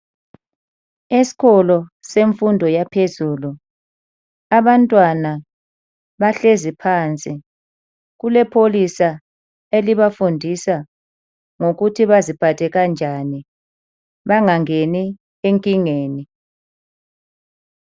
Esikolo semfundo yaphezulu abantwana bahlezi phansi. Kulepholisa elibafundisa ngokuthi baziphathe kanjani, bengangeni enkingeni.